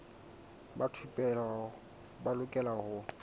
ba thupelo ba lokela ho